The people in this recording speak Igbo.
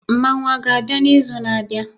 Mmanwu a ga-abịa n'izu na-abịa?